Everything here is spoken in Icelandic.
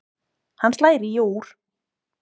Hann slær í og úr.